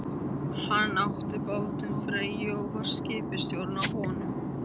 Hann átti bátinn Freyju og var skipstjóri á honum.